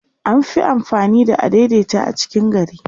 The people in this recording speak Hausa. an Fi amfani da adaidaita a cikin gari